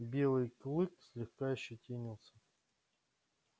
белый клык слегка ощетинился